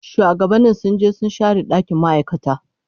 Shuwagabanni sun je su share dakin ma'aikata.